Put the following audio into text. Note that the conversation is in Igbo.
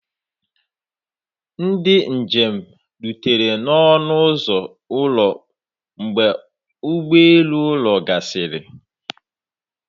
Ndị njem rutere n'ọnụ ụzọ ụlọ mgbe ụgbọ elu ụlọ gasịrị